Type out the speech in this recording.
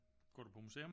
Går du på museum?